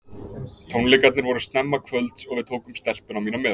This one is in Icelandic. Tónleikarnir voru snemma kvölds og við tókum stelpuna mína með.